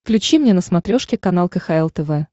включи мне на смотрешке канал кхл тв